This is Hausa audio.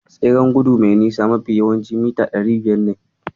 Tseren gudu mai nisa mafi yawanci mita ɗari biyar ne.